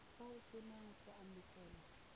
fa o sena go amogela